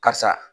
Karisa